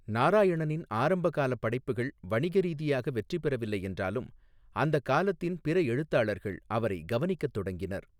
நாராயணனின் ஆரம்பகால படைப்புகள் வணிக ரீதியாக வெற்றிபெறவில்லை என்றாலும், அந்த காலத்தின் பிற எழுத்தாளர்கள் அவரை கவனிக்கத் தொடங்கினர்.